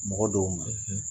Mɔgɔ dɔw ma